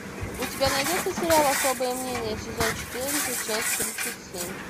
у тебя найдется сериал особое мнение сезон четырнадцать часть тридцать семь